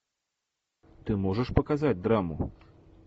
ты можешь показать драму